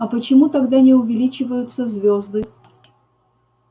а почему тогда не увеличиваются звёзды